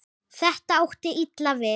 Þetta átti illa við